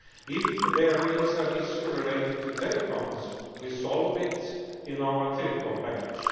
If there is an issue related to telecoms, we solve it in our telecom package.